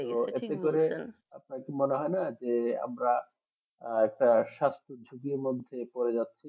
মনে হয়না যে আমরা একটা স্বাস্থ ঝুঁকির মধ্যে করে যাচ্ছি